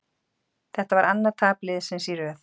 Þetta var annað tap liðsins í röð.